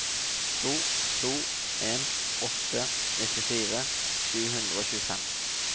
to to en åtte nittifire sju hundre og tjuefem